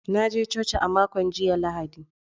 Na je coci a makon jiya Lahadi.